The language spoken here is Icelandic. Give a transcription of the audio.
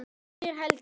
spyr Helgi.